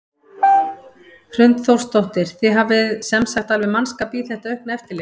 Hrund Þórsdóttir: Þið hafið sem sagt alveg mannskap í þetta aukna eftirlit?